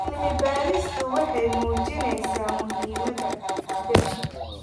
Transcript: Cilmi-baaristu waxay muujinaysaa muhiimada dhirta.